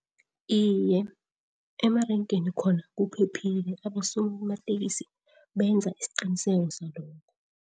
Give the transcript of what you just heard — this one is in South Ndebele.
Iye, emarenkeni khona kuphephile abosomatekisi benza isiqiniseko salokho.